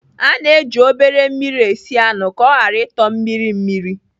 A na-eji obere mmiri esi anụ ka ọ ghara ịtọ mmiri mmiri.